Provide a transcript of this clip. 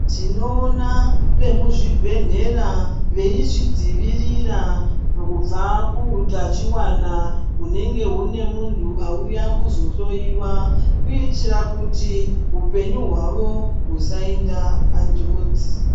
Tinoona vemuzvibhedhlera veizvidzivirira kubva kuutachiwani hunenge hune muntu auya kuzohloyiwa kuitira kuti upenyu hwavo usainda panjodzi.